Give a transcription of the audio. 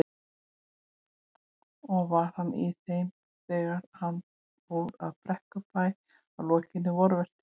Og var hann í þeim þegar hann fór frá Brekkubæ að lokinni vorvertíð.